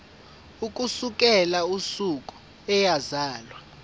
ukusukela usuku eyazalwa